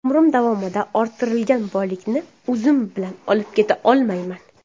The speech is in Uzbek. Umrim davomida orttirilgan boylikni o‘zim bilan olib keta olmayman.